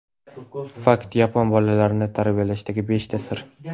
Fakt: Yapon bolalarini tarbiyalashdagi beshta sir.